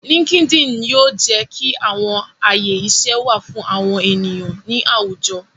Linkedin yoo jẹ ki awọn aye iṣẹ wa fun awọn eniyan ni awujọ